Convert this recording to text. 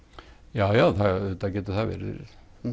já já auðvitað getur það verið